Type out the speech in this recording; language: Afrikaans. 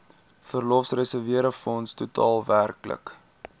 verlofreserwefonds totaal werklik